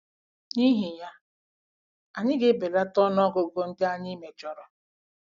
N'ihi ya, anyị ga-ebelata ọnụ ọgụgụ ndị anyị mejọrọ.